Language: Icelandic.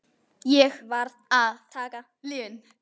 Ég varð að taka lyfin.